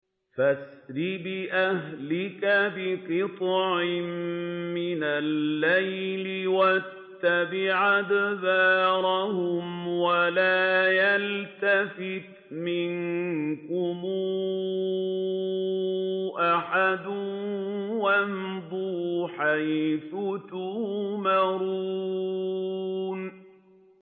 فَأَسْرِ بِأَهْلِكَ بِقِطْعٍ مِّنَ اللَّيْلِ وَاتَّبِعْ أَدْبَارَهُمْ وَلَا يَلْتَفِتْ مِنكُمْ أَحَدٌ وَامْضُوا حَيْثُ تُؤْمَرُونَ